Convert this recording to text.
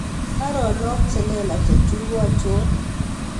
Baronok chelelach chechug ko achon